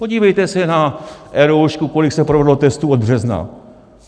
Podívejte se na eRoušku, kolik se provedlo testů od března.